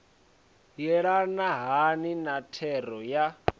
yelana hani na thero ya